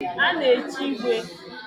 A na-echi igwe.